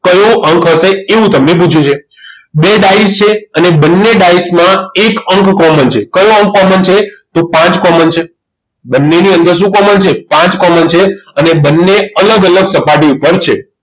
કયો અંક હશે એવું તમને પૂછ્યું છે બે ડાયસ છે અને બંને ડાયસ માં એક અંક common છે કયો અંક common છે તો પાંચ common છે બંનેની અંદર શું common છે પાંચ common છે અને બંને અલગ અલગ સપાટી ઉપર છે